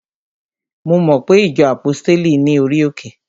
Mo mo pe ìjọ àpọ́stéli ní orí òkè?